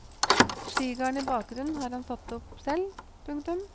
Skigarden i bakgrunnen har han satt opp selv. punktum